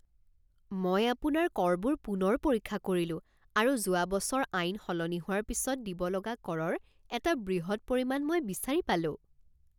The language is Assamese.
মই আপোনাৰ কৰবোৰ পুনৰ পৰীক্ষা কৰিলোঁ আৰু যোৱা বছৰ আইন সলনি হোৱাৰ পিছত দিব লগা কৰৰ এটা বৃহৎ পৰিমাণ মই বিচাৰি পালোঁ৷